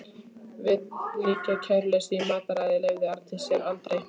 Viðlíka kæruleysi í mataræði leyfði Arndís sér aldrei.